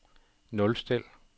nulstil